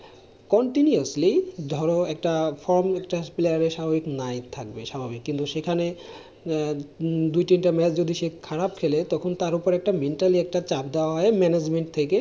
continuously ধরো একটা from একটা player এর স্বাভাবিক right থাকবে, স্বাভাবিক কিন্তু সেখানে দুই তিনটা match যদি সে খারাপ খেলে তখন তার উপর একটা mentali চাপ দেওয়া হয় manegement থেকে।